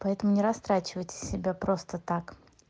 поэтому не растрачивайте себя просто так